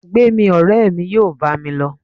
gbemí, ọrẹ mí yóò bá mí lo